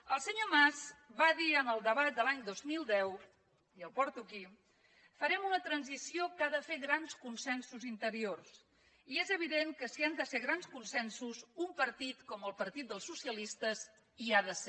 el senyor mas va dir en el debat de l’any dos mil deu i ho porto aquí farem una transició que ha de fer grans consensos interiors i és evident que si han de ser grans consensos un partit com el partit dels socialistes hi ha de ser